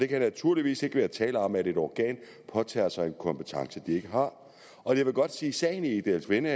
kan naturligvis ikke være tale om at et organ påtager sig en kompetence det ikke har og jeg vil godt sige at sagen i egedalsvænge